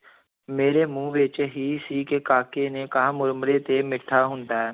ਮੇਰੇ ਮੂੰਹ ਵਿੱਚ ਹੀ ਸੀ ਕਿ ਕਾਕੇ ਨੇ ਕਿਹਾ ਮੁਰਮੁਰਾ ਤੇ ਮਿੱਠਾ ਹੁੰਦਾ ਹੈ।